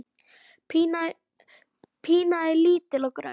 Pína er lítil og grönn.